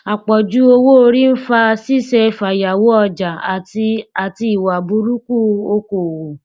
àpọjù owóorí ń fa ṣíṣe fàyàwọ ọjà àti àti ìwà burúkú okòòwò